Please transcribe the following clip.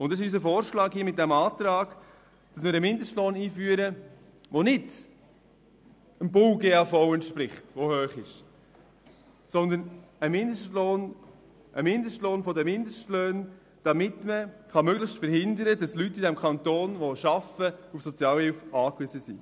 Mit diesem Antrag schlagen wir vor, einen Mindestlohn einzuführen, der nicht demjenigen im Gesamtarbeitsvertrag (GAV) der Baubranche entspricht, welcher hoch ist, sondern einen Mindestlohn der Mindestlöhne, der verhindert, dass Leute in diesem Kanton, die arbeiten, auf Sozialhilfe angewiesen sind.